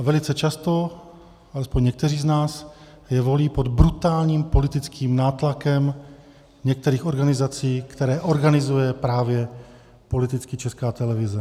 A velice často alespoň někteří z nás je volí pod brutálním politickým nátlakem některých organizací, které organizuje právě politicky Česká televize.